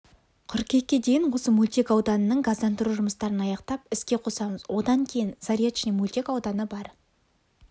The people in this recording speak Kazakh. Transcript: қыркүйекке дейін осы мөлтек ауданның газдандыру жұмыстарын аяқтап іске қосамыз одан кейін заречный мөлтек ауданы бар